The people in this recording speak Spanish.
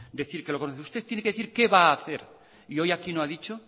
decir que lo conoce usted tiene que decir qué va a hacer y hoy aquí no ha dicho